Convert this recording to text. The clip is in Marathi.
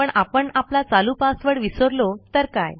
पण आपण आपला चालू पासवर्ड विसरलो तर काय